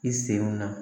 I senw na